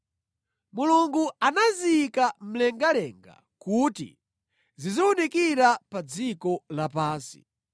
Mulungu anaziyika mlengalenga kuti ziziwunikira pa dziko lapansi,